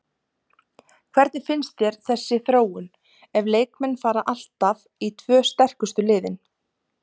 Hvernig finnst þér þessi þróun ef leikmenn fara alltaf í tvö sterkustu liðin?